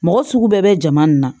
Mɔgɔ sugu bɛɛ bɛ jama nin na